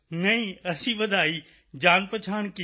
ਨਹੀਂ ਅਸੀਂ ਵਧਾਈ ਜਾਣਪਹਿਚਾਣ ਕੀਤੀ